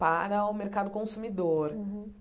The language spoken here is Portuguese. Para o mercado consumidor.